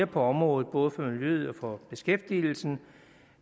på området både for miljøet og for beskæftigelsen